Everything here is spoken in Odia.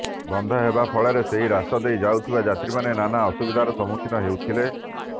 ବନ୍ଦ ହେବା ଫଳରେ ସେହି ରାସ୍ତା ଦେଇ ଯାଉଥିବା ଯାତ୍ରୀମାନେ ନାନା ଅସୁବିଧାର ସମ୍ମୁଖୀନ ହୋଇଥିଲେ